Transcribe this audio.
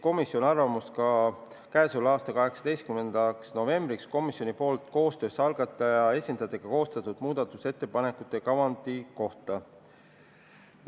Komisjon küsis 18. novembriks ka arvamust komisjoni ja algataja esindajate koostöös koostatud muudatusettepanekute kavandi kohta.